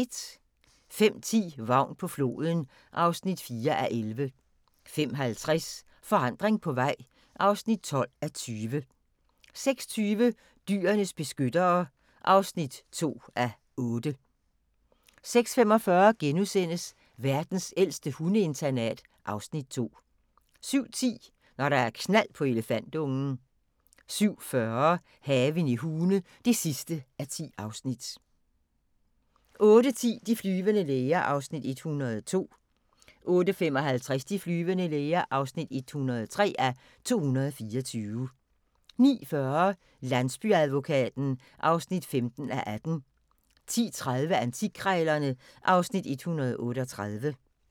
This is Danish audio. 05:10: Vagn på floden (4:11) 05:50: Forandring på vej (12:20) 06:20: Dyrenes beskyttere (2:8) 06:45: Verdens ældste hundeinternat (Afs. 2)* 07:10: Når der er knald på elefantungen 07:40: Haven i Hune (10:10) 08:10: De flyvende læger (102:224) 08:55: De flyvende læger (103:224) 09:40: Landsbyadvokaten (15:18) 10:30: Antikkrejlerne (Afs. 138)